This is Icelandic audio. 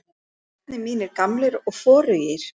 Og skórnir mínir gamlir og forugir.